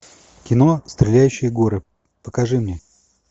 кино стреляющие горы покажи мне